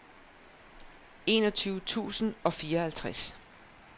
enogtyve tusind og fireoghalvtreds